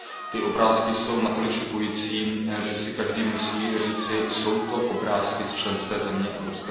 Ty obrázky jsou natolik šokující, že si každý musí říci Jsou to obrázky z členské země EU?